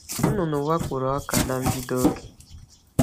Nnụnụ wakporo ọka n’mbido oge.